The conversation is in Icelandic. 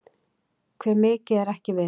Hve mikið er ekki vitað.